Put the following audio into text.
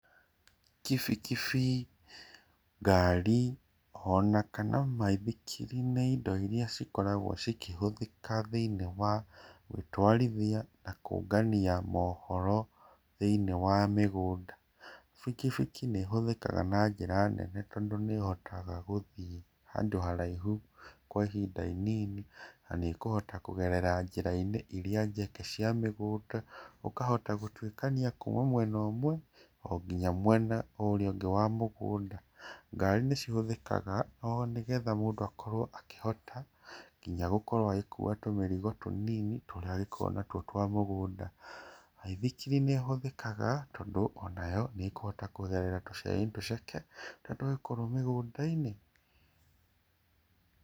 Kĩbĩkĩbĩ, ngarĩ ona kana maĩthĩkĩri nĩ ĩndo ĩrĩa cĩkoragwo cĩkĩhũthĩkaga thĩini wa gũtwarithĩa na kũngania mohoro thĩini wa mĩgũnda. Bĩkĩbĩkĩ nĩhũthĩkaga njĩra nene tondũ nĩ ĩhotaga gũthĩĩ handũ haraĩhũ kwa ihinda ĩnĩnĩ na nĩ ĩkũhota kũgerera njĩra-ĩnĩ ĩrĩa njeke cĩa mĩgũnda, ũkahota gũtwĩkanĩa kuma mwena ũmwe ngĩnya mwena ũrĩa ũngĩ wa mũgũnda. Ngarĩ nĩcĩhũthĩkaga oo nĩgetha mũndũ akorwo akĩhota ngĩnya gũkorwo agĩkũua tũmĩrĩgo tũnĩnĩ tũrĩa angĩkorwo natwo twa mũgũnda. Maĩthĩkĩri nĩhũthĩkaga tondũ onayo nĩkũhota kũgerera tũcĩra-ĩnĩ tũceke tũrĩa tũkoragwo mĩgũnda-ĩnĩ.